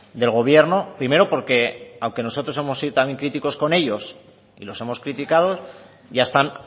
del gobierno primero porque aunque nosotros hemos sido también críticos con ellos y los hemos criticado ya están